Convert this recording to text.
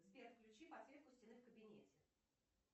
сбер включи подсветку стены в кабинете